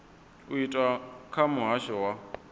u itwa kha muhasho wa